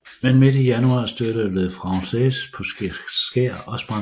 Men midt i januar stødte Le Français på et skær og sprang læk